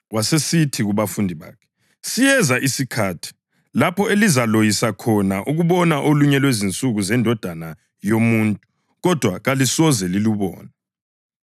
Wasesithi kubafundi bakhe, “Siyeza isikhathi lapho elizaloyisa khona ukubona olunye lwezinsuku zeNdodana yoMuntu kodwa kalisoze lilubone.